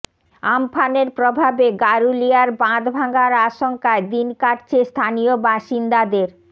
আমফানের প্রভাবে গারুলিয়ার বাঁধ ভাঙার আশঙ্কায় দিন কাটচ্ছে স্থানীয় বাসিন্দাদের